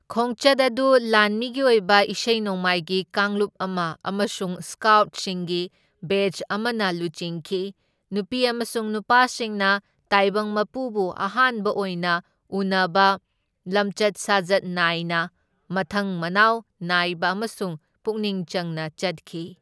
ꯈꯣꯡꯆꯠ ꯑꯗꯨ ꯂꯥꯟꯃꯤꯒꯤ ꯑꯣꯏꯕ ꯏꯁꯩ ꯅꯣꯡꯃꯥꯏꯒꯤ ꯀꯥꯡꯂꯨꯞ ꯑꯃ ꯑꯃꯁꯨꯡ ꯁ꯭ꯀꯥꯎꯠꯁꯤꯡꯒꯤ ꯕꯦꯠꯆ ꯑꯃꯅ ꯂꯨꯆꯤꯡꯈꯤ, ꯅꯨꯄꯤ ꯑꯃꯁꯨꯡ ꯅꯨꯄꯥꯁꯤꯡꯅ ꯇꯥꯏꯕꯪ ꯃꯄꯨꯕꯨ ꯑꯍꯥꯟꯕ ꯑꯣꯏꯅ ꯎꯅꯕ ꯂꯝꯆꯠ ꯁꯥꯖꯠ ꯅꯥꯏꯅ, ꯃꯊꯪ ꯃꯅꯥꯎ ꯅꯥꯏꯕ ꯑꯃꯁꯨꯡ ꯄꯨꯛꯅꯤꯡ ꯆꯪꯅ ꯆꯠꯈꯤ꯫